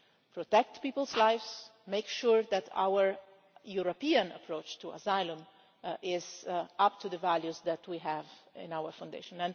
protect people's lives, make sure that our European approach to asylum is up to the values that we have in our foundations.